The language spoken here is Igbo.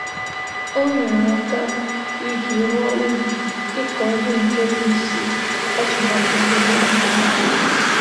O nyere aka iji rụọ ubi ịkọ ihe nke bụ isi atụmatụ mbunobi ndị obodo